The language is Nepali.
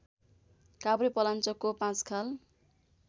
काभ्रेपलाञ्चोकको पाँचखाल